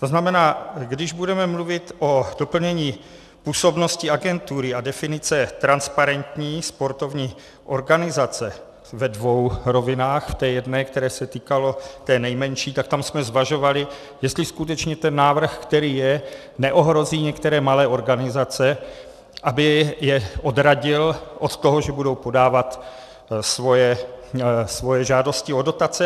To znamená, když budeme mluvit o doplnění působnosti agentury a definice transparentní sportovní organizace ve dvou rovinách, v té jedné, které se týkalo, té nejmenší, tak tam jsme zvažovali, jestli skutečně ten návrh, který je, neohrozí některé malé organizace, aby je odradil od toho, že budou podávat svoje žádosti o dotace.